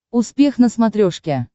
успех на смотрешке